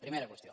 primera qüestió